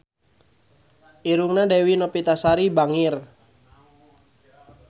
Irungna Dewi Novitasari bangir